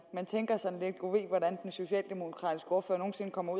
tænker sådan lidt gud ved hvordan den socialdemokratiske ordfører nogen sinde kommer